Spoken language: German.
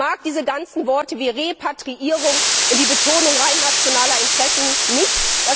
Ich mag diese ganzen Worte wie Repatriierung und die Betonung rein nationaler Interessen nicht.